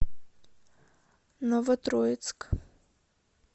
новотроицк